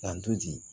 K'an to di